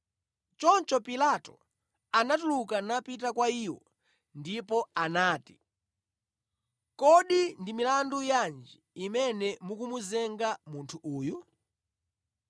Choncho Pilato anatuluka napita kwa iwo ndipo anati, “Kodi ndi milandu yanji imene mukumuzenga munthu uyu?”